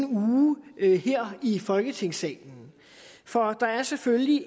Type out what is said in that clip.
uge her i folketingssalen for der er selvfølgelig